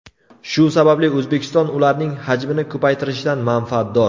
Shu sababli O‘zbekiston ularning hajmini ko‘paytirishdan manfaatdor.